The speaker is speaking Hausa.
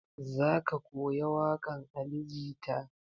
Za ka koya waƙan ali jita?